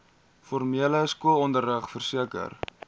formele skoolonderrig verseker